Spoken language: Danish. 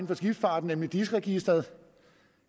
for skibsfarten nemlig dis registeret